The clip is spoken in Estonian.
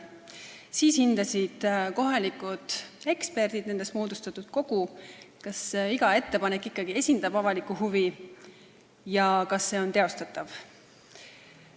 Siis hindasid kohalikud eksperdid, st nendest moodustatud kogu, kas iga ettepanek ikkagi esindab avalikku huvi ja kas see on teostatav.